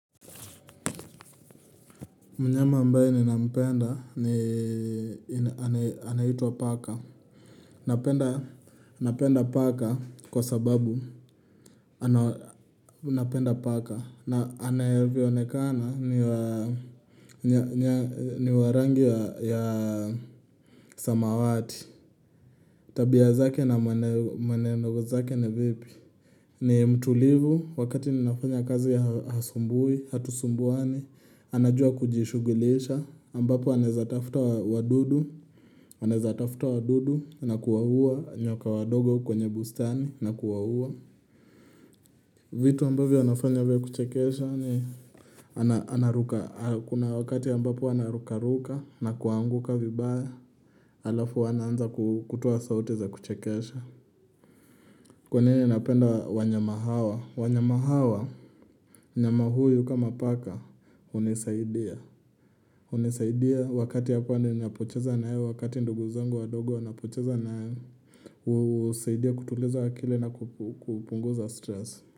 Mnyama ambae nina mpenda ni anaitwa paka. Napenda paka kwa sababu anapenda paka. Na anavyo onekana ni warangi ya samawati. Tabia zake na mwenendo zake ni vipi? Ni mtulivu wakati ni nafanya kazi ya hasumbui, hatusumbuani. Anajua kujishugilisha, ambapo anezatafuta wadudu na kuwaua nyoka wadogo kwenye bustani na kuwaua vitu ambavyo anafanya vya kuchekesha ni anaruka, kuna wakati ambapo anarukaruka na kuanguka vibaya Alafu anaanza kutoa saute za kuchekesha Kwa nini napenda wanyama hawa, wanyama hawa mnyama huyu kama paka hunisaidia hunisaidia wakati hapa ninapocheza naye wakati ndugu zangu wadogo unisaidia kutuliza akili na kupunguza stress.